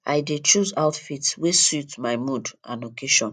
i dey choose outfit wey suit my mood and occasion